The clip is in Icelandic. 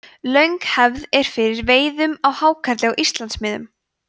löng hefð er fyrir veiðum á hákarli á íslandsmiðum